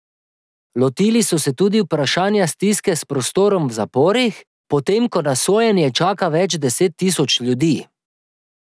Lotili so se tudi vprašanja stiske s prostorom v zaporih, potem ko na sojenje čaka več deset tisoč ljudi.